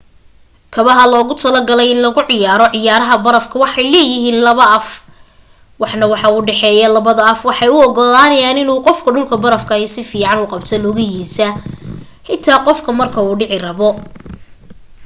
kabaha loogu talagalay in lagu ciyaaro ciyaaraha barafka waxay leeyahiin laba af waxna wuu u dhaxeeya. labada af waxay u ogolaanayaan in uu qofku dhulka barafka ah si fican ugu qabto lugahiisa, xitaa qof ka marka uu dhici rabo